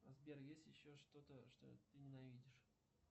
сбер есть еще что то что ты ненавидишь